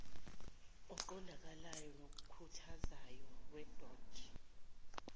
oqondakalayo nokhuthazayo wedod